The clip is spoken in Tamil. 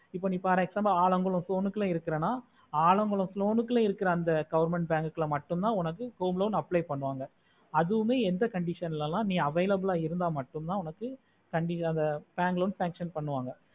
இப்போ for example நீ allungal zone ல இருக்கேனா allungal zone இருக்குற அந்த government bank ல மட்டும்தா home loan apply பண்ணுவாங்க அதுமே நீ எந்த condition ல நீ available இருந்த மட்டும்தா உனக்கு bank loan sanction பண்ணுவாங்க